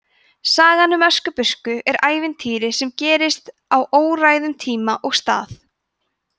sagan um öskubusku er ævintýri sem gerist á óræðum tíma og stað